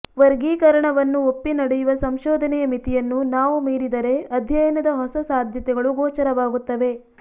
ವರ್ಗೀಕರಣವನ್ನು ಒಪ್ಪಿ ನಡೆಯುವ ಸಂಶೋಧನೆಯ ಮಿತಿಯನ್ನು ನಾವು ಮೀರಿದರೆ ಅಧ್ಯಯನದ ಹೊಸ ಸಾಧ್ಯತೆಗಳು ಗೋಚರವಾಗುತ್ತವೆ